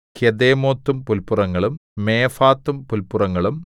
കെദേമോത്തും പുല്പുറങ്ങളും മേഫാത്തും പുല്പുറങ്ങളും